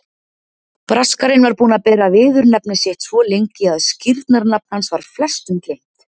Braskarinn var búinn að bera viðurnefni sitt svo lengi að skírnarnafn hans var flestum gleymt.